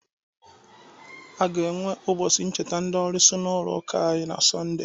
A ga-enwe ụbọchị ncheta ndị olusi n'ụlọ ụka anyị na sọnde